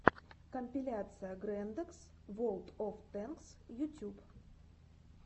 компиляция грэндэкс волд оф тэнкс ютьюб